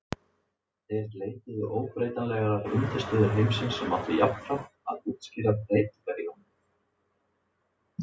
Þeir leituðu óbreytanlegrar undirstöðu heimsins sem átti jafnframt að útskýra breytingar í honum.